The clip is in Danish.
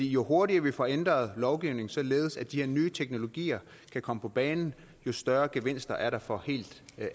jo hurtigere vi får ændret lovgivningen således at de her nye teknologier kan komme på banen jo større gevinster er der for helt